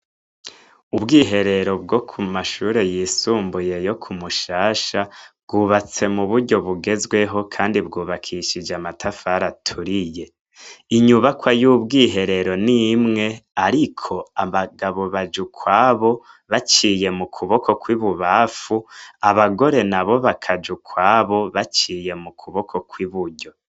Ubwiherero bwo kumashure yisumbumbuye yo kumushasha bwubatse m'uburyo bugezweho kandi bwubakishijwe amatafari aturiye inyubakwa y'ubwiherero n'imwe ariko abagabo baja ukwabo baciye mukuboko kw'ibubamfu, abagore nabo bakaja ukwabo baciye mukuboko kw'iburyo.